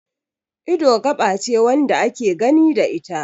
Ido gaba ce wanda ake gani da ita